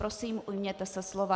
Prosím, ujměte se slova.